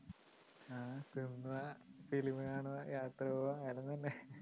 ആ തിന്നുക film കാണുക യാത്ര പോവുക വേറൊന്നൂല്ലേ